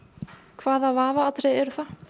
hvaða vafaatriði eru það